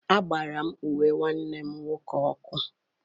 Agbara m uwe nwanne m nwoke ọkụ.